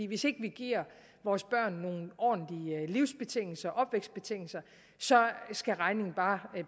hvis ikke vi giver vores børn nogle ordentlige livsbetingelser opvækstbetingelser skal regningen bare